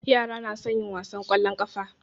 Yara na son yin wasan ƙwallon ƙafa.